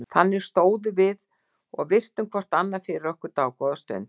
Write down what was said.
Þannig stóðum við og virtum hvort annað fyrir okkur dágóða stund.